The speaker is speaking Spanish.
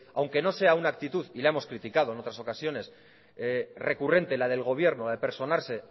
aunque no sea una actitud y la hemos criticado en otras ocasiones recurrente la del gobierno la de personarse